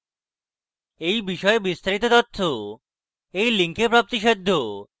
এই বিষয়ে বিস্তারিত তথ্য এই link প্রাপ্তিসাধ্য